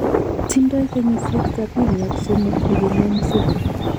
Tindoi kenyisiek sapini ak somok nguno Museveni